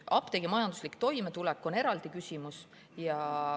Apteegi majanduslik toimetulek on eraldi küsimus.